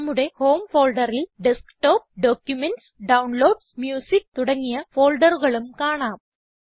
നമ്മുടെ ഹോം ഫോൾഡറിൽ desktop documents downloads music തുടങ്ങിയ ഫോൾഡറുകളും കാണാം